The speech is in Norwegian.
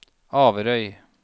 Averøy